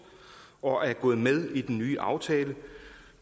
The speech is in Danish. og er gået med i den nye aftale